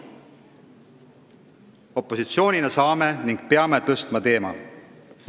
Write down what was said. Opositsioonina me saame selle teema tõsta ja peame seda tegema.